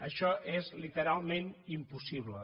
això és literalment impossible